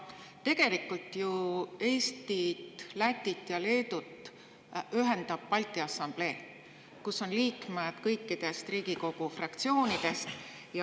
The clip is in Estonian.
Aga tegelikult ju Eestit, Lätit ja Leedut ühendab Balti Assamblee, kus on liikmeid kõikidest Riigikogu fraktsioonidest.